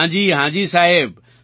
હા જી હા જી સાહેબ